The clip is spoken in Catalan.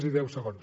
sí deu segons